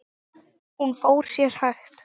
Hún fór sér hægt.